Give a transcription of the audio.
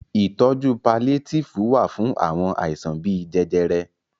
Ìtọjú paliétífù wà fún àwọn àìsàn bíi jẹjẹrẹ.